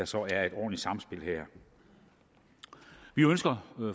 så er et ordentligt samspil her vi ønsker